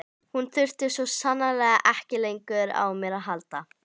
Hún þurfti svo sannarlega ekki lengur á mér að halda.